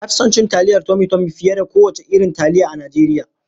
Na fi son taliyar tomi tomi fiye da kowane irin taliya a Najeriya.